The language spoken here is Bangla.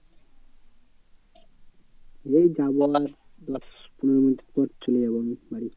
এই যাবো আর দশ পনেরো minutes পর চলে যাবো আমি বাড়ি।